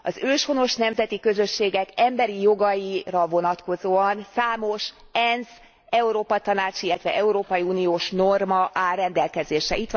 Az őshonos nemzeti közösségek emberi jogaira vonatkozóan számos ENSZ, Európa Tanács, illetve európai uniós norma áll rendelkezésre.